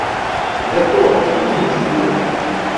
Le to, in nič drugega.